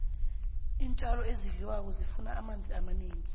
iintjalo ezidliwako zifuna amanzi amanengi